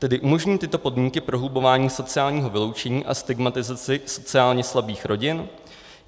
Tedy umožní tyto podmínky prohlubování sociálního vyloučení a stigmatizaci sociálně slabých rodin?